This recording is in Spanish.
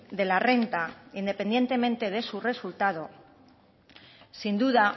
de la renta independientemente de su resultado sin duda